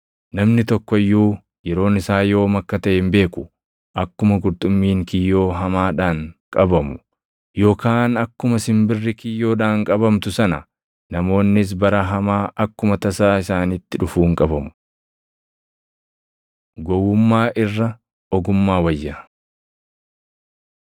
Namni tokko iyyuu yeroon isaa yoom akka taʼe hin beeku: Akkuma qurxummiin kiyyoo hamaadhaan qabamu, yookaan akkuma simbirri kiyyoodhaan qabamtu sana namoonnis bara hamaa akkuma tasaa isaanitti dhufuun qabamu. Gowwummaa Irra Ogummaa Wayya